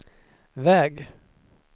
väg